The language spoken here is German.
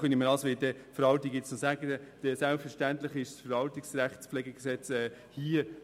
Selbstverständlich gilt hier immer noch das Gesetz über die Verwaltungsrechtspflege (VRPG).